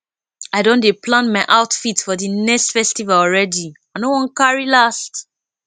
i don dey plan my outfit for di next festival already i no wan carry last